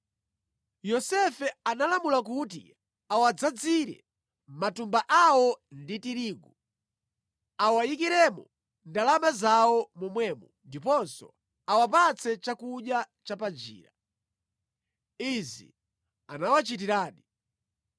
Yosefe analamula kuti awadzazire matumba awo ndi tirigu, awayikiremo ndalama zawo momwemo ndiponso awapatse chakudya cha panjira. Izi anawachitiradi.